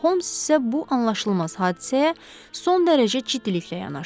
Holms isə bu anlaşılmaz hadisəyə son dərəcə ciddiliklə yanaşdı.